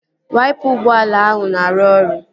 Waipa ụgbọala ahụ na-arụ ọrụ